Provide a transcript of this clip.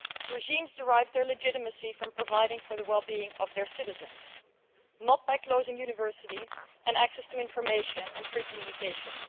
Regimes derive their legitimacy from providing for the wellbeing of their citizens, not from closing universities and access to information and free communications.